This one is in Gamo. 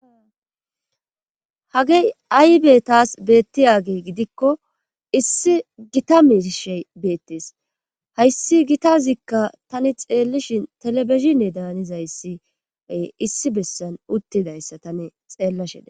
hagey aybetas beettiyage gidikko issi gita miishe beettees hayssi gitazikka tani xeellishin telebeshine daanizayssie issi bessan uttidayssa tani xeellashida